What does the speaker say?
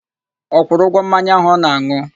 Ọ kwụrụ ụgwọ mmanya áhù ọ na-an̄ụ?